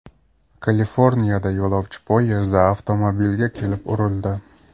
Kaliforniyada yo‘lovchi poyezdi avtomobilga kelib urildi .